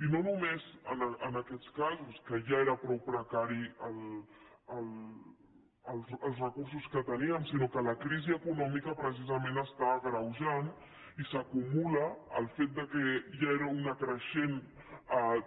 i no només en aquests casos que ja eren prou preca·ris els recursos que teníem sinó que la crisi econòmi·ca precisament està agreujant i s’acumula el fet que ja era una creixent